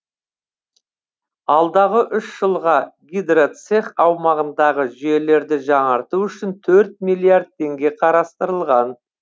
алдағы үш жылға гидроцех аумағындағы жүйелерді жаңарту үшін төрт миллиард теңге қарастырылған